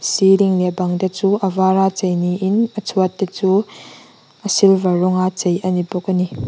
ceiling leh bang te chu a vâr a che ni in a chhuat te chu a silver rawng a che a ni bawk a ni.